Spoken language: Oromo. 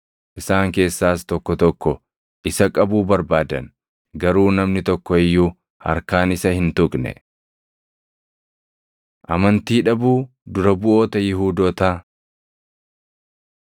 Isaan keessaas tokko tokko isa qabuu barbaadan; garuu namni tokko iyyuu harkaan isa hin tuqne. Amantii Dhabuu Dura Buʼoota Yihuudootaa